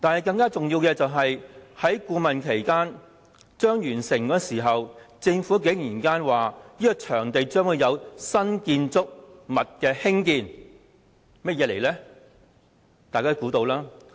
更重要的是，在顧問期即將完結之際，政府竟然向外公布，該場地將會興建新建築項目。